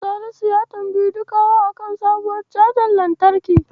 Salisu ya tambayi Dukawa a kan sabuwar cajar lantarki.